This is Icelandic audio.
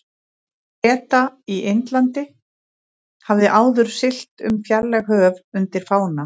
Breta í Indlandi, hafði áður siglt um fjarlæg höf undir fána